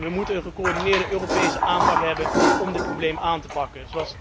We moeten een gecoördineerde Europese aanpak hebben om dit probleem aan te pakken.